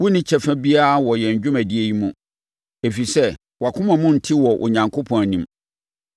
Wonni kyɛfa biara wɔ yɛn dwumadie yi mu, ɛfiri sɛ, wʼakoma mu nte wɔ Onyankopɔn anim.